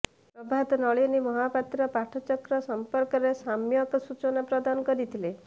ପ୍ରଭାତ ନଳିନୀ ମହାପାତ୍ର ପାଠଚକ୍ର ସମ୍ପର୍କରେ ସମ୍ୟକ ସୂଚନା ପ୍ରଦାନ କରିଥିଲେ